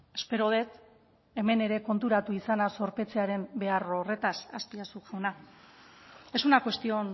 espero dut hemen ere konturatu izana zorpetzearen behar horretaz azpiazu jauna es una cuestión